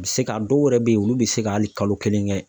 U bɛ se ka ,dɔw yɛrɛ bɛ yen, olu bɛ se ka hali kalo kelen kɛ.